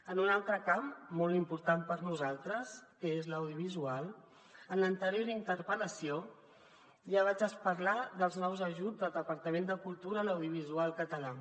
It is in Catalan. en un altre camp molt important per a nosaltres que és l’audiovisual en l’anterior interpel·lació ja vaig parlar dels nous ajuts del departament de cultura a l’audiovisual català